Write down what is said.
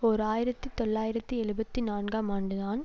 ஓர் ஆயிரத்தி தொள்ளாயிரத்து எழுபத்தி நான்காம் ஆண்டுதான்